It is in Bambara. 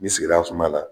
Ni sigira sumaya la